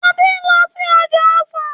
Ade nlò sí ọjà ọsán